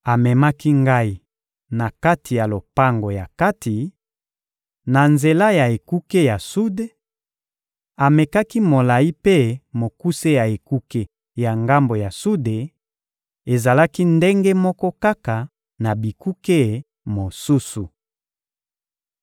Amemaki ngai na kati ya lopango ya kati, na nzela ya ekuke ya sude; amekaki molayi mpe mokuse ya ekuke ya ngambo ya sude: ezalaki ndenge moko kaka na bikuke mosusu.